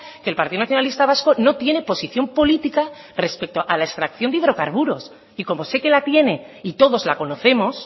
que el partido nacionalista vasco no tiene posición política respecto a la extracción de hidrocarburos y como sé que la tiene y todos la conocemos